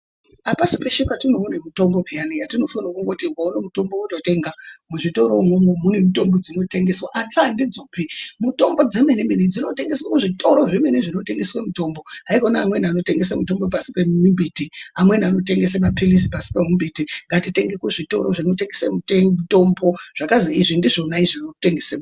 Apasi peshe patinoone mitombo peyani yatinoti ukaone mutombo wototenga muzvitoro umwomwo mune mitombo dzinotengeswa asi andidzopi. Mutombo dzemene mene dzinotengese kuzvitoro zvemene zvinotengeswe mitombo haikona amweni anotengese mitombo pasi pemimbiti amweni anotengese maphilizi pasi pemimbiti ngatitenge kuzvitoro zvinotengese mutombo zvakazi izvi ndizvona zvinotengese mitombo.